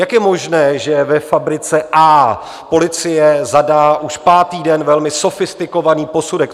Jak je možné, že ve fabrice A policie zadá už pátý den velmi sofistikovaný posudek?